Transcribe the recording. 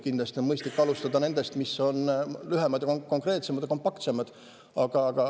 Kindlasti on mõistlik alustada nendest, mis on lühemad, konkreetsemad ja kompaktsemad.